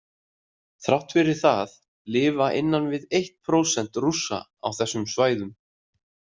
Þrátt fyrir það lifa innan við eitt prósent Rússa á þessum svæðum.